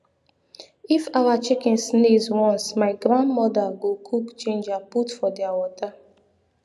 if awa chicken sneez once my grand moda go cook ginger put for dia water